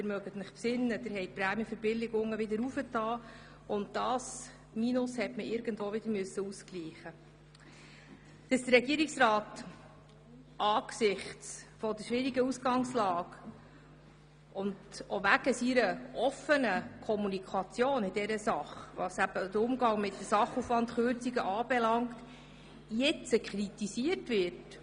Es mutet allerdings etwas seltsam an, dass der Regierungsrat jetzt wegen dieses Ergebnisses und wegen seiner offenen Kommunikation, was den Umgang mit den Sachaufwandkürzungen betrifft, kritisiert wird.